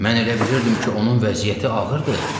Mən elə bilirdim ki, onun vəziyyəti ağırdır.